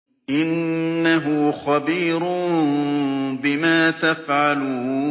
فَأَخَذَتْهُمُ الرَّجْفَةُ فَأَصْبَحُوا فِي دَارِهِمْ جَاثِمِينَ